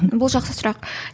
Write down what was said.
бұл жақсы сұрақ